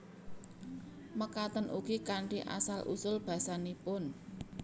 Mekaten ugi kanthi asal usul basanipun